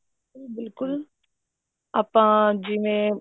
ਬਿਲਕੁਲ ਆਪਾਂ ਜਿਵੇਂ